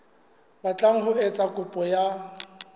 batlang ho etsa kopo ya